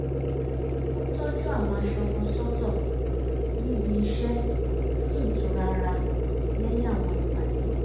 ó tọ́jú àwọn aṣọ kan sọ́tọ̀ níbi iṣẹ́ fún ìtura ara lẹ́yìn àwọn ìpàdé